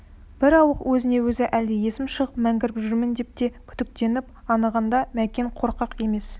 бір ауық өзіне-өзі әлде есім шығып мәңгіріп жүрмін бе деп те күдіктенетін анығында мәкен қорқақ емес